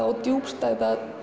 og djúpstæða